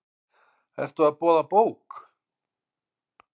Ertu að boða bók?